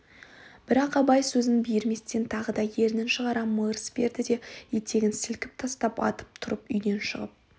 бірақ абай сөзін биірместен тағы да ернін шығара мырс берді де етегін сілкіп тастап атып тұрып үйден шығып